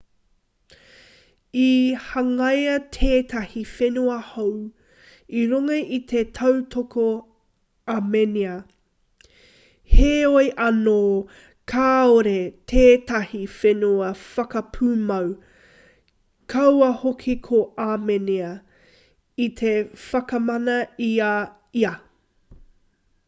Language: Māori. i hangaia tētahi whenua hou i runga i te tautoko āmenia heoi anō kāore tētahi whenua whakapūmau kaua hoki ko āmenia i te whakamana i a ia